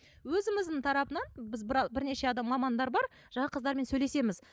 өзіміздің тарапынан біз бір бірнеше адам мамандар бар жаңағы қыздармен сөйлесеміз